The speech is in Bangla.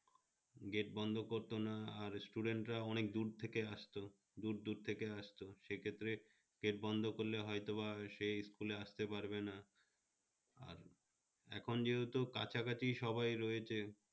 gate বন্ধ করতো না আর student রা অনেক দূর থেকে আসতো দূর দূর থেকে আসতো সে ক্ষেত্রে gate বন্ধ করলে হয়তো সে school আসতে পারবে না আর এখন যেহেতু কাছাকাছি সবাই রয়েছে